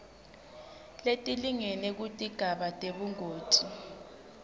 letilingene kutigaba tebungoti